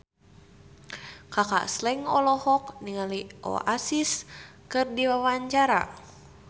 Kaka Slank olohok ningali Oasis keur diwawancara